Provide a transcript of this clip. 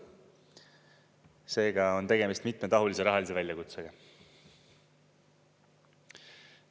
Seega on tegemist mitmetahulise rahalise väljakutsega.